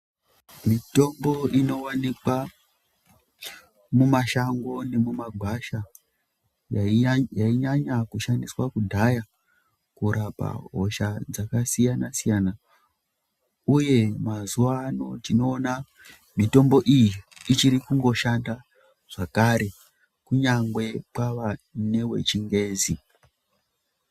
Mitombo inowanikwa mumashango nemumagwasha yaiya yainyanya kushandiswa kudhaya kurapa hosha dzakasiyana siyana uye mazuwa ano tinoona mitombo iyi ichiri kungoshanda zvakare kunyangwe kwava newe chingezi.